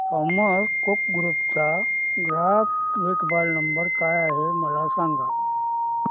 Thomas Cook group चा ग्राहक देखभाल नंबर काय आहे मला सांगा